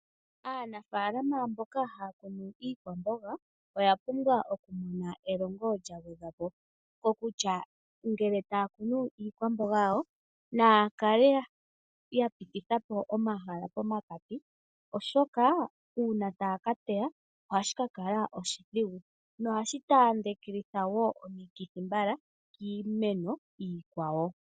Aanafalama mboka haya kunu iikwamboga oya pumbwa okumona elongo lya gwedhwa po kokutya ngele taya kunu iikwamboga yawo naakale ya pititha po omahala pomakati oshika uuna taa ka teya ohashika kala oshidhigu nohashi taandelitha eo omikirhi mbala kiimeno iikwawo.